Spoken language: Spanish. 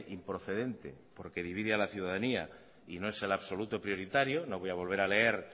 improcedente porque divide a la ciudadanía y no es el absoluto prioritario no voy a volver a leer